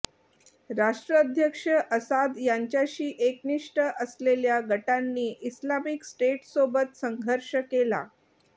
राष्ट्राध्यक्ष असाद यांच्याशी एकनिष्ठ असलेल्या गटांनी इस्लामिक स्टेटसोबत संघर्ष केला